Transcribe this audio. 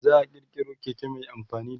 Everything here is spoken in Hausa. za'a kirkiro Keke Mai amfani da mai